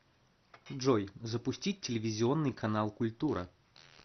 джой запустить телевизионный канал культура